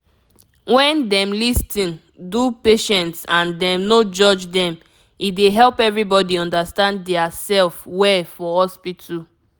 wen dem lis ten do patients and dem no judge dem e dey help everybody understand dia sef well for hospital